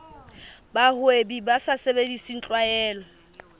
bahwebi ba sa sebedise tlwaelo